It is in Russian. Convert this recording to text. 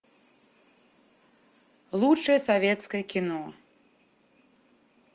лучшее советское кино